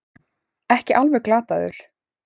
Ekki alveg glataður